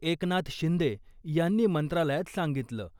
एकनाथ शिंदे यांनी मंत्रालयात सांगितलं .